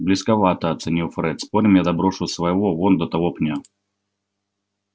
близковато оценил фред спорим я доброшу своего вон до того пня